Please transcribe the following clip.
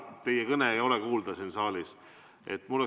Teie kõne ei ole siin saalis kuulda.